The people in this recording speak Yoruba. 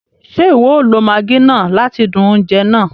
Ṣe iwọ o lo maggi náà láti dún oúnjẹ náà?